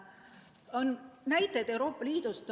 On võtta näiteid Euroopa Liidust.